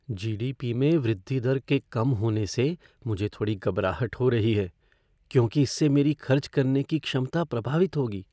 जी. D. P. में वृद्धि दर के कम होने से मुझे थोड़ी घबराहट हो रही है क्योंकि इससे मेरी खर्च करने की क्षमता प्रभावित होगी।